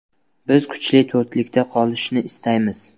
Biz kuchli to‘rtlikda qolishni istaymiz.